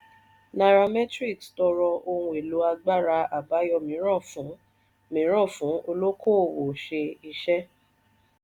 nairametrics tọrọ ohun èlò agbára abayọ míràn fún míràn fún olokoowo ṣe iṣẹ.